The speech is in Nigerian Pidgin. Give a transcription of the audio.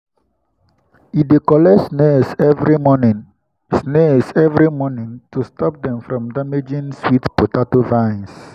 he dey collect snails every morning snails every morning to stop them from damaging sweet potato vines.